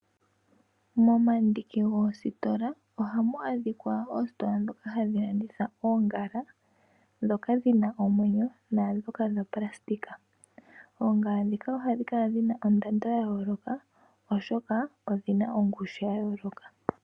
Momandiki goositola ohamu adhikwa oositola dhoka hadhilanditha oongala, dhoka dhina omwenyo naadhoka dhoopulasitika. Oongala dhika ohadhikala dhina ondando yayooloka oshokaa odhina ongushu yayooloka.